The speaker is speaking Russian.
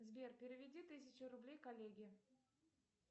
сбер переведи тысячу рублей коллеге